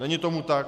Není tomu tak.